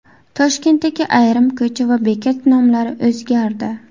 Toshkentdagi ayrim ko‘cha va bekat nomlari o‘zgardi.